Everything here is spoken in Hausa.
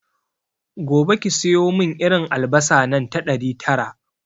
Gobe ki siyomin irin albasa nan ta ɗari tara